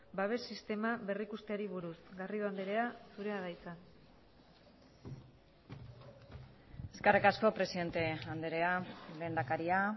babes sistema berrikusteari buruz garrido andrea zurea da hitza eskerrik asko presidente andrea lehendakaria